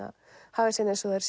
haga sér eins og þær